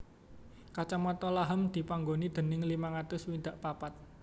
Kacamatan Laham dipanggoni déning limang atus swidak papat